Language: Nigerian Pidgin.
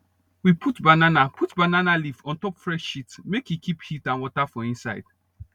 we put banana put banana leaf on top fresh shit make e keep heat and water for inside